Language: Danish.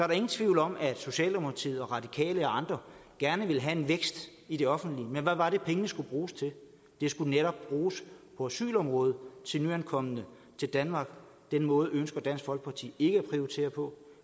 der ingen tvivl om at socialdemokratiet og radikale og andre gerne ville have en vækst i det offentlige men hvad var det pengene skulle bruges til de skulle netop bruges på asylområdet til nyankomne til danmark den måde ønsker dansk folkeparti ikke at prioritere på